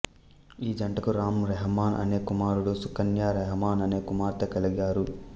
ఈ జంటకు రాం రెహమాన్ అనే కుమారుడు సుకన్య రెహమాన్ అనే కుమార్తె కలిగారు